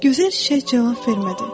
Gözəl çiçək cavab vermədi.